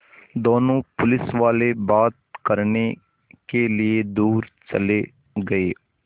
दोनों पुलिसवाले बात करने के लिए दूर चले गए